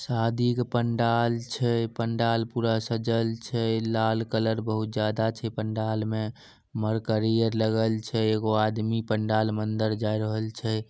शादी के पंडाल छै पंडाल पूरा सज्जल छै। लाल कलर बहुत ज्यादा छे पंडाल में। मर्करी ये लगल छे। एगो आदमी पंडाल में अंदर जाय रहल छे।